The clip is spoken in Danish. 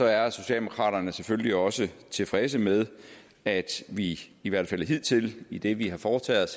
er socialdemokraterne selvfølgelig også tilfredse med at vi i hvert fald hidtil i det vi har foretaget